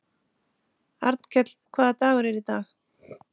Arnkell, hvaða dagur er í dag?